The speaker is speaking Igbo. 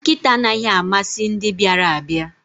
Nkịta anaghị amasị ndị bịara abịa